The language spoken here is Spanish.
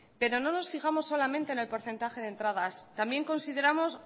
pero no nos fijamos solamente en el porcentaje de entradas también consideramos